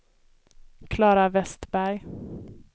Klara Vestberg